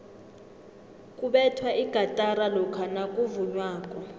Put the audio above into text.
kubethwa igatara lokha nakuvunywako